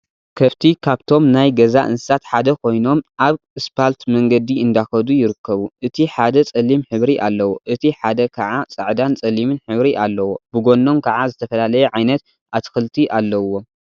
ከፍቲ ካብቶም ናይ ገዛ እንስሳት ሓደ ኮይኖም አብ እስፓልት መንገዲ እንዳከዱ ይርከቡ፡፡ እቲ ሓደ ፀሊም ሕብሪ አለዎ፡፡ እቲ ሓደ ከዓ ፃዕዳን ፀሊምን ሕብሪ አለዎ፡፡ ብጎኖም ከዓ ዝተፈላለየ ዓይነት አትክልቲ አለዉዎም፡፡